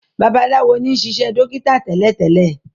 Babalawo ní sisé dókítà télètélè.